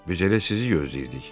Biz elə sizi gözləyirdik.